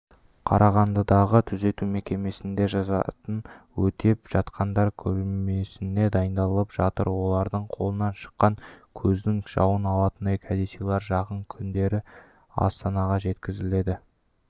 қарағандыдағы түзету мекемесінде жазасын өтеп жатқандар көрмесіне дайындалып жатыр олардың қолынан шыққан көздің жауын алатын кәдесыйлар жақын күндері астанаға жеткізіледі